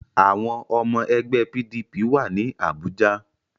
Àwọn ọmọ ẹgbẹ́ PDP wà ní Àbújá